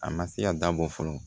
A ma se ka dabɔ fɔlɔ